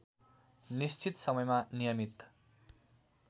निश्चित समयमा नियमित